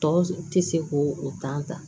Tɔ tɛ se k'o o ta